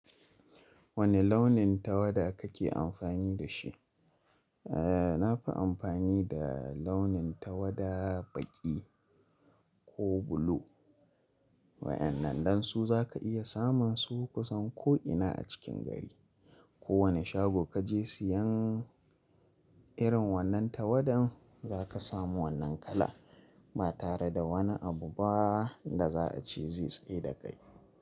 Wane launin tawada kake amfani da shi? E, na fi amfani da launin tawada baƙi ko blue. Wa'ennan don su za ka iya samun su kusan ko'ina a cikin gari. Ko wane shago kaje siyan irin wannan tawadan, za ka samu wannan kala ba tare da wani abu ba da za a ce zai tsayar dakai.